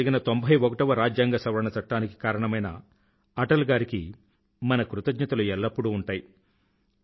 2003 లో జరిగిన 91వ రాజ్యాంగ సవరణ చట్టానికి కారణమైన అటల్ గారికి మన కృతజ్ఞతలు ఎల్లప్పుడూ ఉంటాయి